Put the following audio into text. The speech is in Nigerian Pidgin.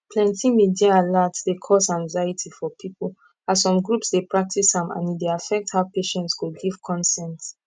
plenty media alert dey cause anxiety for people as some groups dey practice am and e dey affect how patients go give consent